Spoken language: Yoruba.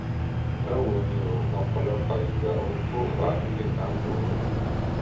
báwo ni o? ní ọ̀pọ̀lọpọ̀ ìgbà ohun tó fà á lè máà burú